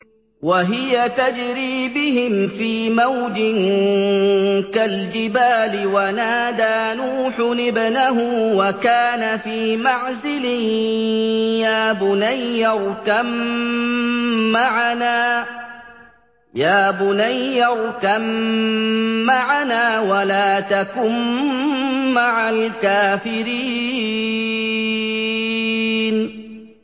وَهِيَ تَجْرِي بِهِمْ فِي مَوْجٍ كَالْجِبَالِ وَنَادَىٰ نُوحٌ ابْنَهُ وَكَانَ فِي مَعْزِلٍ يَا بُنَيَّ ارْكَب مَّعَنَا وَلَا تَكُن مَّعَ الْكَافِرِينَ